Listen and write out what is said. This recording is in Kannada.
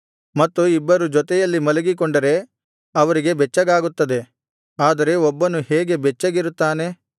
ಮತ್ತು ಇಬ್ಬರು ಜೊತೆಯಲ್ಲಿ ಮಲಗಿಕೊಂಡರೆ ಅವರಿಗೆ ಬೆಚ್ಚಗಾಗುತ್ತದೆ ಆದರೆ ಒಬ್ಬನು ಹೇಗೆ ಬೆಚ್ಚಗಿರುತ್ತಾನೆ